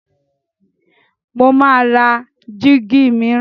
Mo máa ra jíígi mìíràn.